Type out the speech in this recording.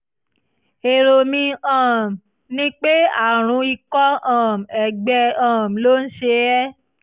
èrò mi um ni pé àrùn ikọ́ um ẹ̀gbẹ um ló ń ṣe é